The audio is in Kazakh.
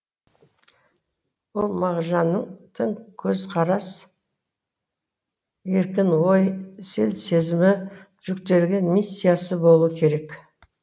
ол мағжанның тың көзқарас еркін ой сел сезімі жүктеген миссиясы болуы керек